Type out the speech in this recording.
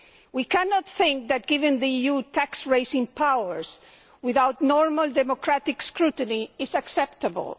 We cannot think that giving the EU tax raising powers without normal democratic scrutiny is acceptable.